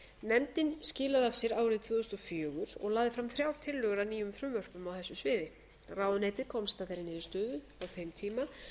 nefndin skilaði af sér árið tvö þúsund og fjögur og lagði fram þrjár tillögur að nýjum frumvörpum á þessu sviði ráðuneytið komst að þeirri niðurstöðu á þeim tíma að